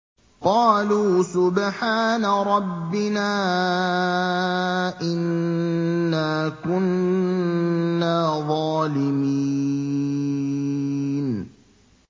قَالُوا سُبْحَانَ رَبِّنَا إِنَّا كُنَّا ظَالِمِينَ